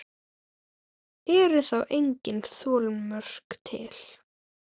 Eru þá engin þolmörk til?